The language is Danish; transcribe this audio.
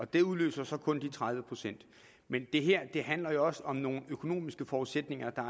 det udløser så kun de tredive procent men det her handler jo også om nogle økonomiske forudsætninger der